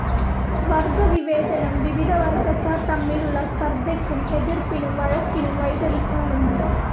വർഗവിവേചനം വിവിധ വർഗക്കാർ തമ്മിലുള്ള സ്പർദ്ദയ്ക്കും എതിർപ്പിനും വഴക്കിനും വഴിതെളിക്കാറുണ്ട്.